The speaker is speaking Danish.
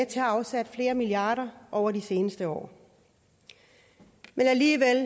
til at afsætte flere milliarder over de seneste år men alligevel